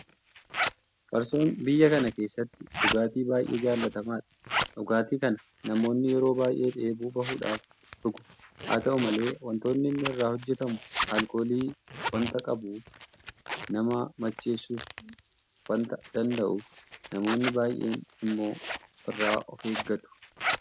Farsoon biyya kana keessatti dhugaati baay'ee jaalatamaadha. Dhugaatii kana namoonni yeroo baay'ee dheebuu bahuudhaaf dhugu. Haata'u malee waantonni inni irraa hojjetamu aalkoolii waanta qabuuk nama macheessuus waanta danda'uuf namoonni baay'een immoo irraa ofeeggatu.